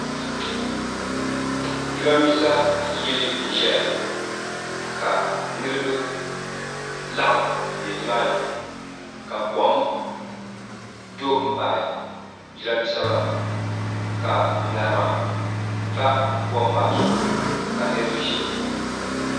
jarinibɛsa yili n ʒɛya ka niriba laɣim n bɛni maa nika kom do n baɣ jarinibɛsa maa ka ŋarima pa kom maa zuɣ ka niriba ʒɛ di puuni